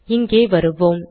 இங்கே வருவோம்